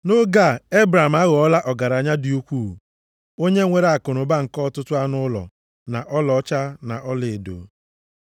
Nʼoge a, Ebram aghọọla ọgaranya dị ukwuu, onye nwere akụnụba nke ọtụtụ anụ ụlọ, na ọlaọcha, na ọlaedo.